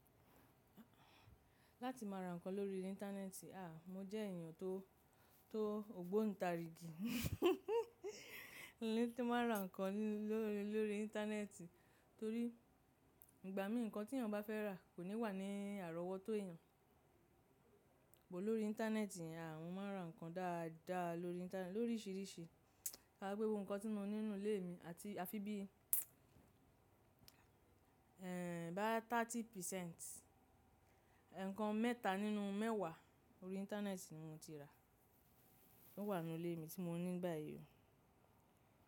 Láti máa ra nǹkan lórí Íńtánẹ́ẹ̀tì, à, mo jẹ́ èèyàn tó, tó ògbónnì ta rìgì. Láti máa ra nǹkan lórí, lórí Íńtánẹ́ẹ̀tì torí ìgbà mí nǹkan tí èèyàn bá fẹ́ rà kò ní wà ní àrọ́wọ́tó èèyàn. Láti máa ra nǹkan lórí, lórí Íńtánẹ́ẹ̀tì torí ìgbà mí nǹkan tí èèyàn bá fẹ́ rà kò ní wà ní àrọ́wọ́tó èèyàn. Rárá pé gbogbo nǹkan tí mo ní nínú ilé mi àti a fi bí, ẹ́èń, bá ìdá ọgbọ̀n nínú ọgọ́rùn-ún, ẹ̀ẹ̀kan mẹ́ta nínú mẹ́wàá lórí Íńtánẹ́ẹ̀tì ni mo ti rà. Ó wà nínú ilé mi tí mo ní báyìí o.